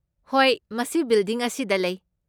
ꯍꯣꯏ, ꯃꯁꯤ ꯕꯤꯜꯗꯤꯡ ꯑꯁꯤꯗ ꯂꯩ꯫